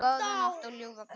Góða nótt og ljúfa drauma.